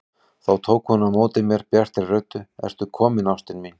Þá tók hún á móti mér bjartri röddu: Ertu kominn ástin mín!